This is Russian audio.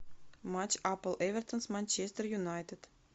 матч апл эвертон с манчестер юнайтед